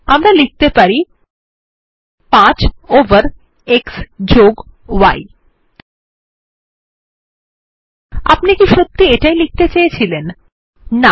আমরা লিখতে পারি 5 ওভার x y আপনি কি সত্যি ই এটাই লিখতে চেয়েছিলেন160